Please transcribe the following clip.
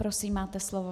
Prosím, máte slovo.